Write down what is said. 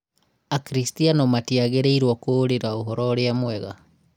Akrstiano matiagĩrĩĩrũo kũũrira ũhoro ũrĩa mwega